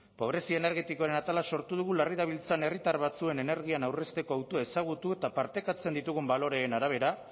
pobrezia energetikoaren atala sortu dugu larri dabiltzan herritar batzuen energian aurrezteko hautua ezagutu eta partekatzen ditugun baloreen arabera